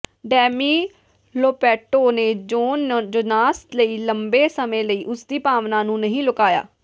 demi Lovato ਨੇ Jon Jonas ਲਈ ਲੰਬੇ ਸਮੇਂ ਲਈ ਉਸਦੀ ਭਾਵਨਾ ਨੂੰ ਨਹੀਂ ਲੁਕਾਇਆ